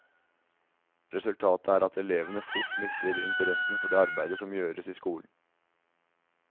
Resultatet er at elevene fort mister interessen for det arbeidet som gjøres i skolen.